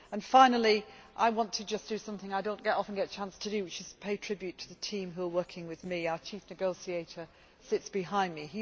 Finally, I want to just do something I do not often get a chance to do, which is to pay tribute to the team who are working with me. Our chief negotiator sits behind